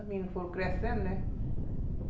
Os meninos foram crescendo, né?